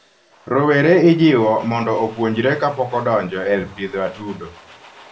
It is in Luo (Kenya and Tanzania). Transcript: rowere ijiwo mondo opuojre kapoko odoje pidho atudo